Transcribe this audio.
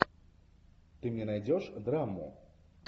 ты мне найдешь драму